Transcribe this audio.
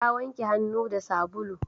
Ta wanke hannu da sabulu